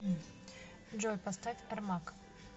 джой поставь эрмак